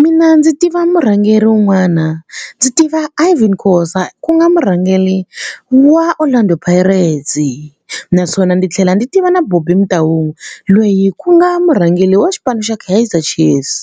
Mina ndzi tiva murhangeri un'wana ndzi tiva Irvin Khosa ku nga murhangeri wa Orlando Pirates naswona ndzi tlhela ndzi tiva na Bobby Motaung loyi ku nga murhangeri wa xipano xa Kaizer Chiefs.